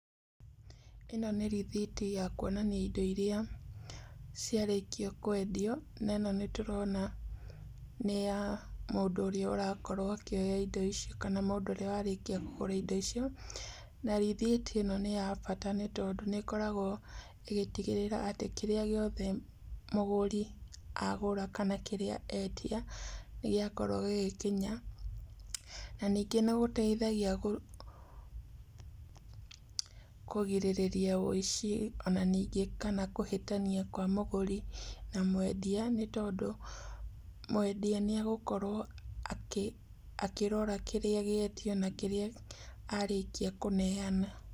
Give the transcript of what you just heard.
ĩno nĩ rĩthiti ya kuonania indo iria ciarĩkio kũendio na ĩno nĩtũrona nĩ ya mũndũ ũrĩa ũrakorwo akĩoya indo ici kana mũndũ ũrĩa warĩkia kũgũra indo icio, na rĩthiti ĩno nĩya bata nĩ tondũ nĩĩkoragwo ĩgĩtigĩrĩra atĩ kĩrĩa gĩothe mũgũri agũra kana kĩrĩa endia nĩgĩakorwo gĩgĩkinya na ningĩ nĩgũteithagia kũgirĩrĩa wĩici ona ningĩ kana kũhĩtania kwa mũgũri na mwendia nĩ tondũ mwendia nĩ agũkorwo akĩrora kĩrĩa gĩetio na kĩrĩa arĩkia kũneana.